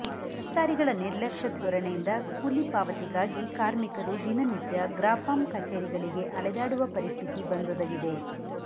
ಅಧಿಕಾರಿಗಳ ನಿರ್ಲಕ್ಷ್ಯ ಧೋರಣೆಯಿಂದ ಕೂಲಿ ಪಾವತಿಗಾಗಿ ಕಾರ್ಮಿಕರು ದಿನನಿತ್ಯ ಗ್ರಾಪಂ ಕಚೇರಿಗಳಿಗೆ ಅಲೆದಾಡುವ ಪರಿಸ್ಥಿತಿ ಬಂದೊದಗಿದೆ